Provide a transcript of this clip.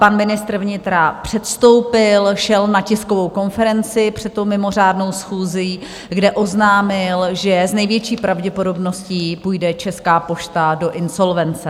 Pan ministr vnitra předstoupil, šel na tiskovou konferenci před tou mimořádnou schůzí, kde oznámil, že s největší pravděpodobností půjde Česká pošta do insolvence.